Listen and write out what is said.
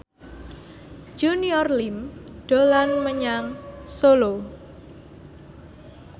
Junior Liem dolan menyang Solo